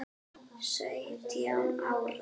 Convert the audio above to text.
Sautján ára?